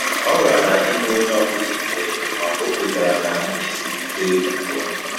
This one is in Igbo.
O ghara ịma onye ọ bụla ikpe, ma ọ kwetara na ihe siri ike ugbu a